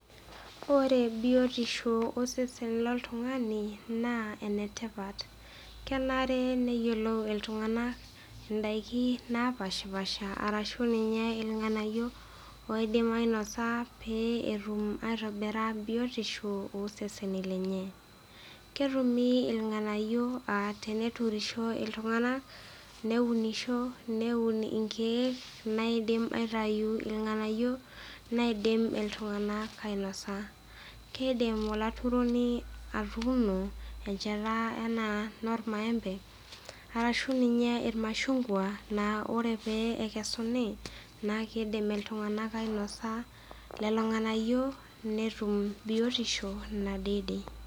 Ore biotisho osesen loltung'ani naa enetipat. Kenare neyiolou iltung'ana indaiki naapaashipaasha arashu ninye ilng'anayio oidim ainosa pee etum aitobira biotisho oseseni lenye. Ketumi ilng'anayio a teneturisho iltung'ana neunisho, neun ilkeek loidim aitayu ilng'anayio naidim iltung'ana ainosa. Keidim olaturoni atuuno encheta anaa enolmaembe arashu ninye ilmashungwa naa ore pee ekesunii naa keidim iltung'ana ainosa lelo ng'anayio netum biotisho nadede.